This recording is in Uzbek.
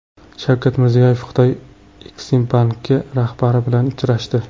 Shavkat Mirziyoyev Xitoy Eksimbanki rahbari bilan uchrashdi.